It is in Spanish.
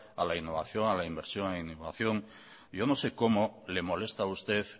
a la innovación a la inversión en innovación yo no sé cómo le molesta a usted